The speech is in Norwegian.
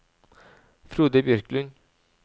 Frode Bjørklund